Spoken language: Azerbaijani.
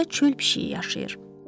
Orda çöl pişiyi yaşayır.